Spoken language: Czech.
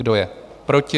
Kdo je proti?